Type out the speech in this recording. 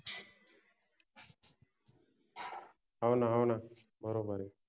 हो न हो न, बरोबर आहे.